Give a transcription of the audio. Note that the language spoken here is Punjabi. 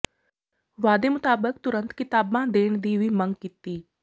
ਵਾਅਦੇ ਮੁਤਾਬਿਕ ਤੁਰੰਤ ਕਿਤਾਬਾਂ ਦੇਣ ਦੀ ਵੀ ਮੰਗ ਕੀਤੀ